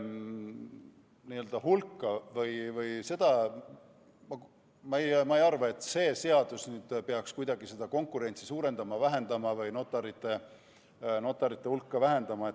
Mis puudutab notarite hulka, siis ma ei arva, et see seadus peaks kuidagi seda konkurentsi suurendama või notarite hulka vähendama.